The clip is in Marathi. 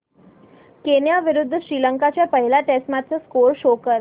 केनया विरुद्ध श्रीलंका च्या पहिल्या टेस्ट मॅच चा स्कोअर शो कर